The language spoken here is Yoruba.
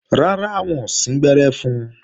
Rárá, wọn ò síngbẹ́rẹ́ fun